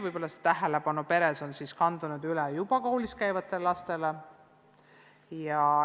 Võib-olla on tähelepanu peres kandunud üle juba koolis käivatele lastele.